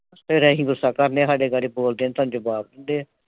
ਫਿਰ ਅਸੀਂ ਗੁੱਸਾ ਕਰ ਲਿਆ, ਸਾਡੇ ਬਾਰੇ ਬੋਲਦੇ ਆ, ਤਾਂ ਸਾਨੂੰ ਜਵਾਬ ਦਿੰਦੇ ਆ।